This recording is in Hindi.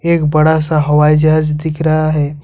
एक बड़ा सा हवाई जहाज दिख रहा है।